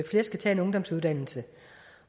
flere skal tage en ungdomsuddannelse